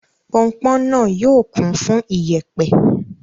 Pọnpọn náà yóò kún fún ìyẹ̀pẹ̀.